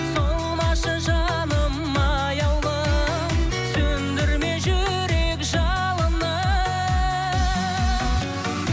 солмашы жаным аяулым сөндірме жүрек жалынын